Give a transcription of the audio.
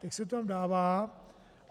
Teď se to tam dává.